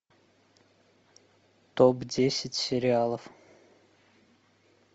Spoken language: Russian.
топ десять сериалов